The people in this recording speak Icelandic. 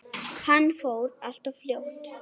Hann fór allt of fljótt.